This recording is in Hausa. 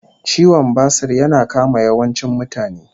Ciwon basur ya kama yawancin mutane